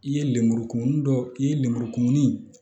I ye lemuru kumuni dɔ i ye lemuru kumuni